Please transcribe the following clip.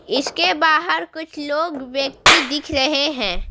इसके बाहर कुछ लोग व्यक्ति दिख रहे हैं।